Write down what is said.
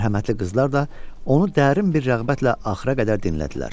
Mərhəmətli qızlar da onu dərin bir rəğbətlə axıra qədər dinlədilər.